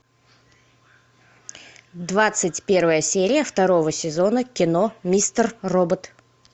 двадцать первая серия второго сезона кино мистер робот